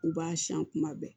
U b'a siyan kuma bɛɛ